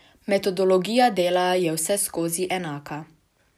Metodologija dela je vseskozi enaka.